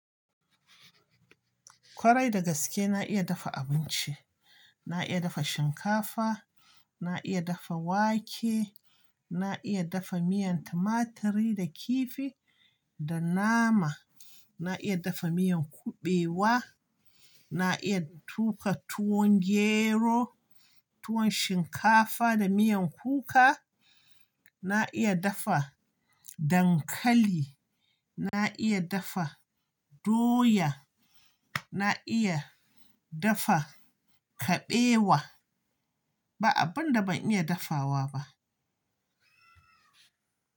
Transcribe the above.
Kwarai dagaske na iya dafa abinci. Na iya dafa shinkafa, na iya dafa wake, na iya dafa miyan tumaturi da kifi da nama. Na iya dafa miyan kuɓewa, na iya tuƙa tuwon gero, tuwon shinkafa da miyan kuka. Na iya dafa dankali, na iya dafa doya, na iya dafa kuɓewa. Ba abun da ban iya dafawa ba.